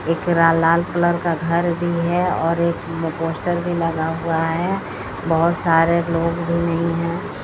एक लाल कलर का घर भी है और एक पोस्टर भी लगा हुआ है बहोत सारे लोग भी नहीं है।